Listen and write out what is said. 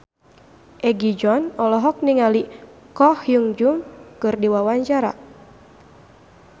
Egi John olohok ningali Ko Hyun Jung keur diwawancara